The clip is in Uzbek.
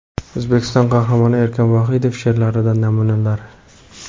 O‘zbekiston Qahramoni Erkin Vohidov she’rlaridan namunalar.